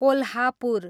Kolhapur